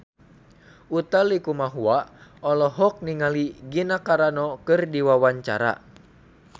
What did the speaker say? Utha Likumahua olohok ningali Gina Carano keur diwawancara